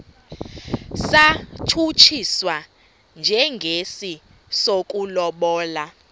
satshutshiswa njengesi sokulobola